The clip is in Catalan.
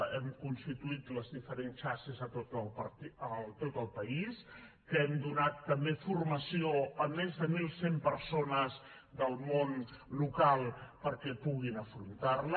hem constituït les diferents xarxes a tot el país que hem donat també formació a més de mil cent persones del món local perquè puguin afrontar la